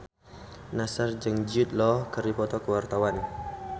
Nassar jeung Jude Law keur dipoto ku wartawan